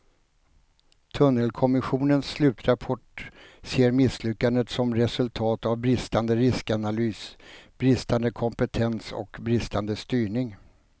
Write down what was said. Tunnelkommissionens slutrapport ser misslyckandet som resultat av bristande riskanalys, bristande kompetens och bristande styrning.